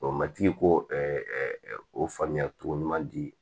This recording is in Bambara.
Ɔ matigi ko o faamuya togo ɲuman di